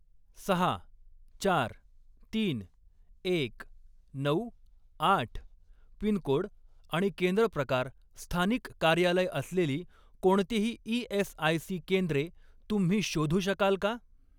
सहा, चार, तीन, एक, नऊ, आठ पिनकोड आणि केंद्र प्रकार स्थानिक कार्यालय असलेली कोणतीही ई.एस.आय.सी. केंद्रे तुम्ही शोधू शकाल का?